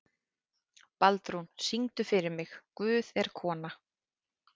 Baldrún, syngdu fyrir mig „Guð er kona“.